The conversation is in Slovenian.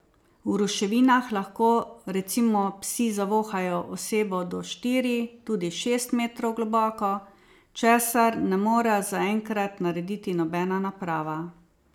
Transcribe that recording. V ruševinah lahko recimo psi zavohajo osebo do štiri, tudi šest metrov globoko, česar ne more zaenkrat narediti nobena naprava.